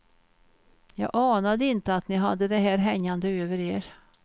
Jag anade inte att ni hade det här hängande över er.